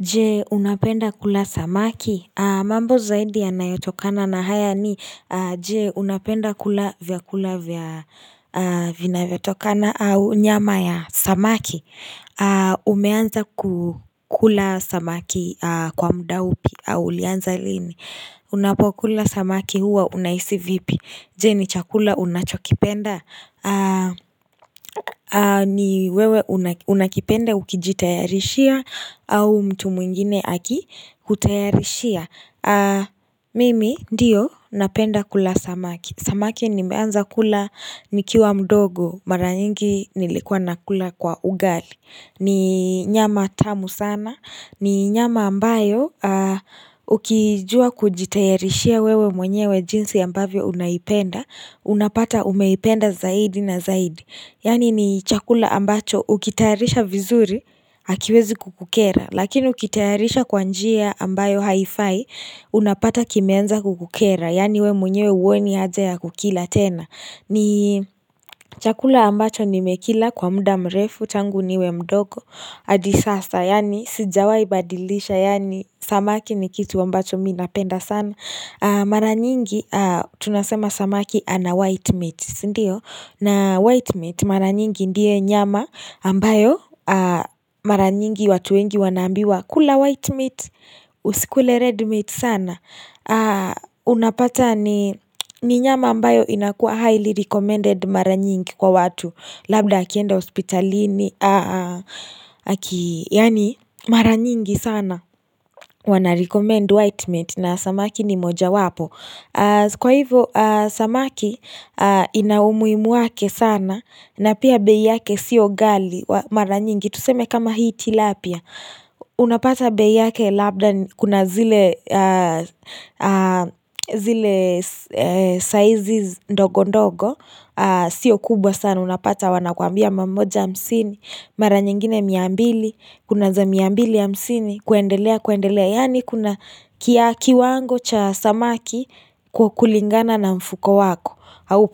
Je unapenda kula samaki? Mambo zaidi yanayotokana na haya ni, je unapenda kula vyakula vinavyotokana au nyama ya samaki? Umeanza kukula samaki kwa muda upi au ulianza lini? Unapokula samaki huwa unahisi vipi? Je ni chakula unachokipenda? Ni wewe unakipenda ukijitayarishia au mtu mwingine akikutayarishia? Mimi ndiyo napenda kula samaki. Samaki nimeanza kula nikiwa mdogo, mara nyingi nilikuwa nakula kwa ugali, ni nyama tamu sana, ni nyama ambayo Ukijua kujitayarishia wewe mwenyewe jinsi ambavyo unaipenda, unapata umeipenda zaidi na zaidi, yaani ni chakula ambacho ukitayarisha vizuri Hakiwezi kukukera, lakini ukitayarisha kwa njia ambayo haifai Unapata kimeanza kukukera, yaani wewe mwenyewe huoni haja ya kukila tena, ni chakula ambacho nimekila kwa muda mrefu tangu niwe mdogo hadi sasa, yaani sijawai badilisha, yaani samaki ni kitu ambacho mimi napenda sana Mara nyingi tunasema samaki ana 'white meat', sindio, na 'white meat' mara nyingi ndiye nyama ambayo mara nyingi watu wengi wanaambiwa kula 'white meat' usikule 'red meat' sana, unapata ni nyama ambayo inakuwa 'highly recommended' mara nyingi kwa watu, labda akienda hospitalini yaani mara nyingi sana wanarecommend white meat na samaki ni moja wapo, kwa hivyo samaki ina umuhimu wake sana, na pia bei yake sio ghali mara nyingi, tuseme kama hii tilapia Unapata bei yake labda kuna zile zile sizes ndogo ndogo Sio kubwa sana, unapata wanakuambia mia moja hamsini, mara nyingine mia mbili, kuna za mia mbili hamsini kuendelea kuendelea, yaani kuna kiwango cha samaki kulingana na mfuko wako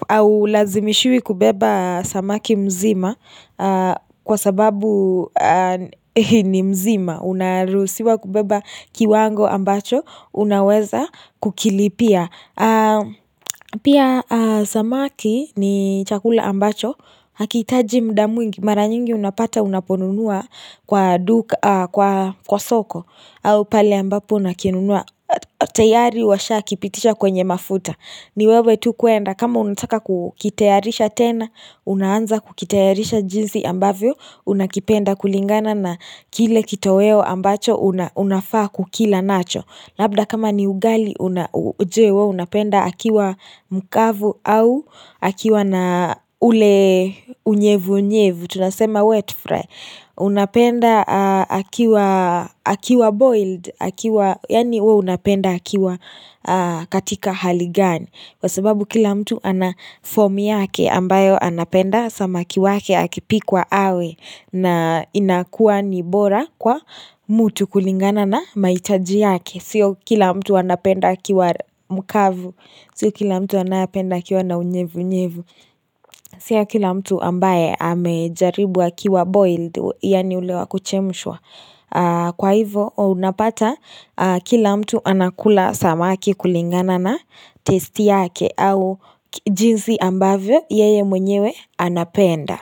haulazimishiwi kubeba samaki mzima kwa sababu ni mzima, unaruhusiwa kubeba kiwango ambacho unaweza kukilipia pia samaki ni chakula ambacho hakihitaji muda mwingi mara nyingi unapata unaponunua kwa duka, kwa soko au pale ambapo unakinunua tayari washakipitisha kwenye mafuta, ni wewe tu kuenda, kama unataka kukitayarisha tena, unaanza kukitayarisha jinsi ambavyo, unakipenda kulingana na kile kitoweo ambacho unafaa kukila nacho. Labda kama ni ugali, je wewe unapenda akiwa mkavu au akiwa na ule unyevu nyevu? Tunasema wet fry Unapenda akiwa boiled? Yaani wewe unapenda akiwa katika hali gani, kwa sababu kila mtu anafom yake ambayo anapenda samaki wake akipikwa awe na inakuwa ni bora kwa mtu kulingana na mahitaji yake, sio kila mtu anapenda akiwa mkavu. Sio kila mtu anayependa akiwa na unyevu nyevu. Sio kila mtu ambaye amejaribu akiwa boiled, yaani ule wa kuchemshwa. Kwa hivyo unapata kila mtu anakula samaki kulingana na testi yake au jinsi ambavyo yeye mwenyewe anapenda.